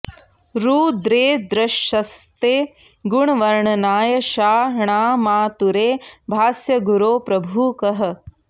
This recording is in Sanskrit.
रु द्रेदृशस्ते गुणवर्णनाय षा ण्मातुरे भास्य गुरो प्रभुः कः